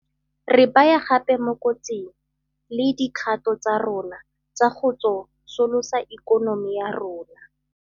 Re baya gape mo kotsing le dikgato tsa rona tsa go tso solosa ikonomi ya rona.